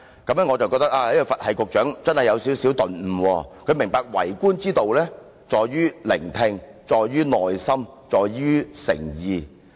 我以為這位"佛系局長"真的有所頓悟，明白為官之道在於聆聽，在於耐心，在於誠意。